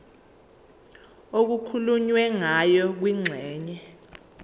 okukhulunywe ngayo kwingxenye